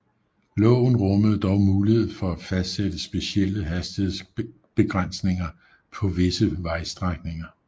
Loven rummede dog mulighed for at fastsætte specielle hastighedsbegrænsninger på visse vejstrækninger